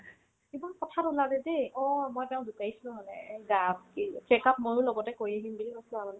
একদম কথাত উলালে দেই অ' মই তেওক জোকাইছিলো মানে এ checkup ময়ো লগতে কৰি আহিম বুলি কৈছিলো আৰু